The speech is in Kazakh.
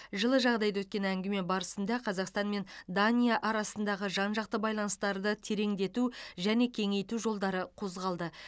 жылы жағдайда өткен әңгіме барысында қазақстан мен дания арасындағы жан жақты байланыстарды тереңдету және кеңейту жолдары қозғалды